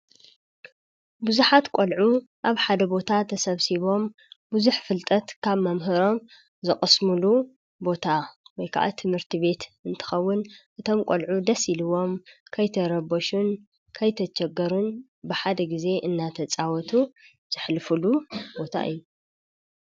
ብዙሓት ቆልዑ ኣብ ሓደ ቦታ ተሰብሲቦም ብዙሕ ፍልጠት ካብ መምህሮም ዝቕስሙሉ ቦታ ወይ ከዓ ትምህርቲ ቤት እንትኸውን እቶም ቈልዑ ደስ ኢልዎም ከይተረበሹን ከይተቸገሩን ብሓደ ጊዜ እናተፃወቱ ዘሕልፉሉ ቦታ እዩ፡፡